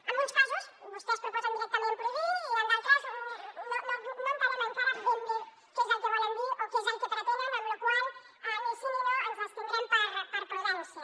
en uns casos vostès proposen directament prohibir i en d’altres no entenem encara ben bé què és el que volen dir o què és el que pretenen amb la qual cosa ni sí ni no ens abstindrem per prudència